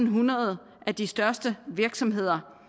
hundrede af de største virksomheder